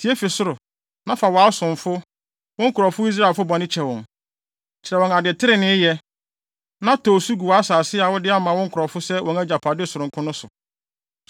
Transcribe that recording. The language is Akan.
tie fi ɔsoro, na fa wʼasomfo, wo nkurɔfo Israelfo, bɔne kyɛ wɔn. Kyerɛ wɔn ade trenee yɛ, na tɔ osu gu wʼasase a wode ama wo nkurɔfo sɛ wɔn agyapade sononko no so.